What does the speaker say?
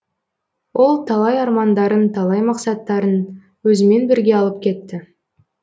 ол талай армандарын талай мақсаттарын өзімен бірге алып кетті